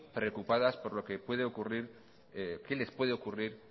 preocupadas por lo que puede ocurrir qué les puede ocurrir